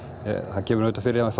það kemur fyrir að